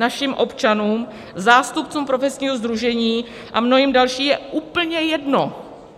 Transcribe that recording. Našim občanům, zástupcům profesního sdružení a mnohým dalším je úplně jedno,